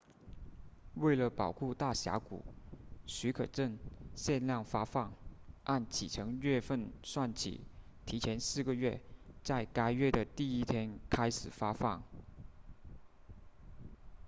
为了保护大峡谷许可证限量发放按启程月份算起提前四个月在该月的第一天开始发放